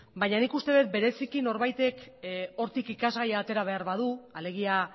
baina nik uste dut bereziki norbaitek hortik ikasgaia atera behar badu alegia